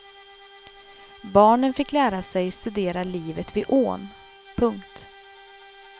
Barnen fick lära sig studera livet vid ån. punkt